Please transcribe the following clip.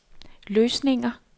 løsninger